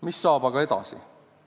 Mis saab aga edasi?